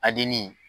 Adin